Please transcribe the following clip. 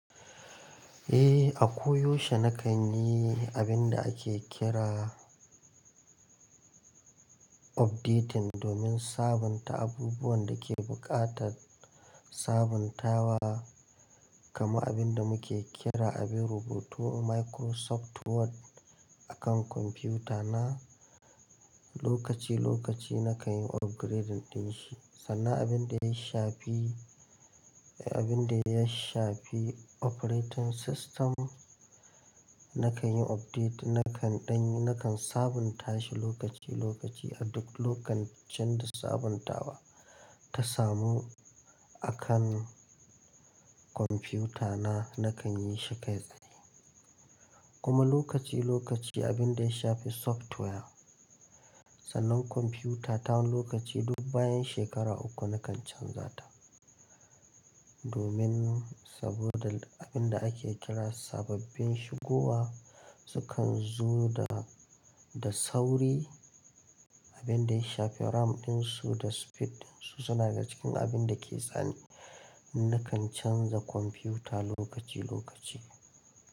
Eh, a koyaushe na kan yi abin da ake kira updating domin sabunta abubuwan da ke buƙatar sabuntawa, kamar abin da muke kira abin rubutu Microsoft Word a kan kwamfutana. Lokaci-lokaci na kan yi upgrading din shi. Sannan abin da ya shafi, eh abin da ya shafi operating system, na kan yi update na kan ɗan, na kan sabunta shi lokaci-lokaci a duk lokacin da sabuntawa ta samu. A kan kwamfutana na kan yi shi kai tsaye. Kuma lokaci-lokaci abin da ya shafi software, sannan kwamfuta ta lokaci duk bayan shekara uku na kan canza ta. Domin saboda abin da ake kira sababbin shigowa su kan zo da, da sauri. Abin da ya shafi RAM ɗin su da speed ɗin su suna daga cikin abin da ke tsani. Na kan canza kwamfuta lokaci-lokaci.